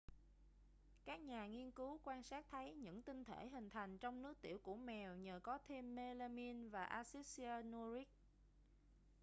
các nhà nghiên cứu quan sát thấy những tinh thể hình thành trong nước tiểu của mèo nhờ có thêm melamine và acid cyanuric